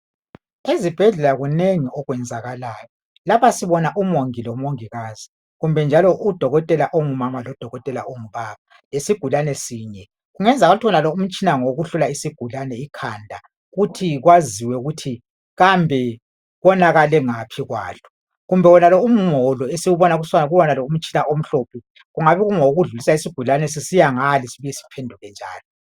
Ezibhedlela kunengi okwenzakalayo. Lapha sibona umongi lomongikazi, kumbe njalo udokotela ongumama lodokotela ongubaba, lesigulane sinye. Kungenzakala ukuthi wonalo umtshina ngowokuhlola isigulane ikhanda ukuthi kwaziwe ukuthi kambe konakale ngaphi kwalo. Kumbe wonalo umholo esiwubona kuwonalo umtshina omhlophe, ungabe ungowokudlulisa isigulane sesisiya ngale sibuye siphenduke njalo.